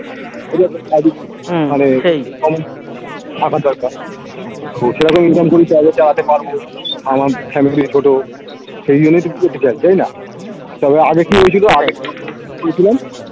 থাকার দরকার দ্যাখো income করি তাহলে চালাতে পারবো আমার family ছোট সেইজন্যেই তো চাই তাইনা তবে আগে কি হয়েছিল আগে কি বলছিলাম